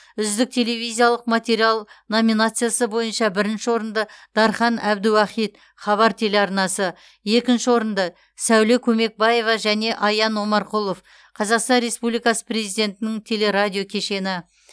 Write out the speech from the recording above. үздік телевизиялық материал номинациясы бойынша бірінші орынды дархан әбдіуахит хабар телеарнасы екінші орынды сәуле көмекбаева және аян омарқұлов қазақстан республикасы президентінің телерадиокешені